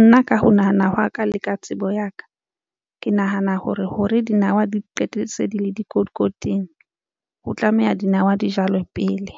Nna ka ho nahana hwa ka le ka tsebo ya ka. Ke nahana hore hore dinawa di qetelletse di le dikotikoting. Ho tlameha dinawa di jalwe pele